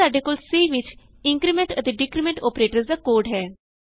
ਇਥੇ ਸਾਡੇ ਕੋਲ C ਵਿਚ ਇੰਕਰੀਮੈਂਟ ਅਤੇ ਡਿਕਰੀਮੈਂਟ ਅੋਪਰੇਟਰਸ ਦਾ ਕੋਡ ਹੈ